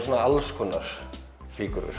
alls konar fígúrur